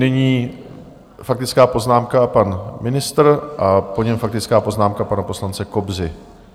Nyní faktická poznámka pan ministr a po něm faktická poznámka pana poslance Kobzy.